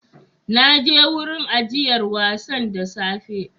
Na je wurin ajiyar wasan da safe